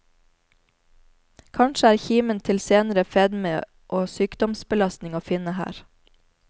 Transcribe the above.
Kanskje er kimen til senere fedme og sykdomsbelastning å finne her.